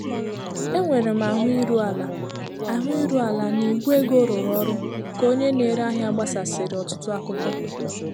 Enwere m ahụ iru ala ahụ iru ala na Igwe ego rụrụ ọrụ ka onye na-ere ahịa gbasasịrị ọtụtụ akụkọ.